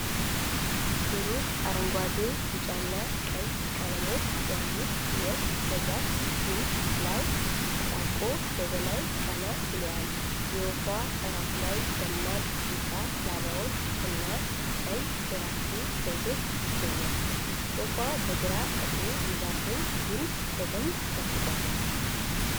ብሩህ አረንጓዴ፣ ቢጫና ቀይ ቀለሞች ያሉት ወፍ በዛፍ ግንድ ላይ ተጣብቆ ወደ ላይ ቀና ብሎአል። የወፏ ራስ ላይ ደማቅ ቢጫ ላባዎች እና ቀይ የራስጌ ዘውድ ይገኛሉ። ወፉ በግራ እግሩ የዛፉን ግንድ በደንብ ጨብጧል፡፡